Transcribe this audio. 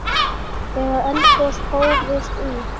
Þegar eldgos hófust í